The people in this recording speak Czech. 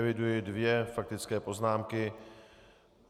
Eviduji dvě faktické poznámky.